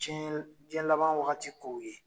Cɛnli jiɲɛdaban wagati kow ye